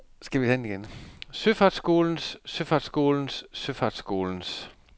søfartsskolens søfartsskolens søfartsskolens